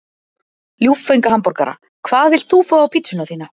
Ljúffenga hamborgara Hvað vilt þú fá á pizzuna þína?